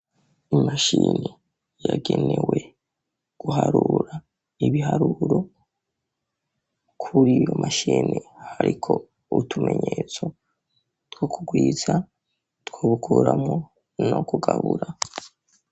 Imashini yagenewe guharura ibiharuro, kuriyo mashini hariho utumenyetso two kugwiza , two gukuramwo no kugabura.